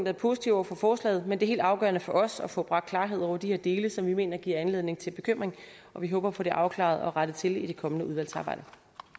er positive over for forslaget men det er helt afgørende for os er at få bragt klarhed over de her dele som vi mener giver anledning til bekymring og vi håber at få det afklaret og rettet til i det kommende udvalgsarbejde